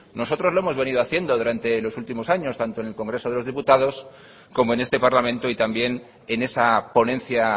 nosotros lo hemos venido haciendo durante los últimos años tanto en el congreso de los diputados como en este parlamento y también en esa ponencia